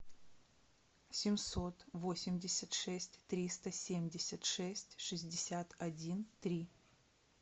семьсот восемьдесят шесть триста семьдесят шесть шестьдесят один три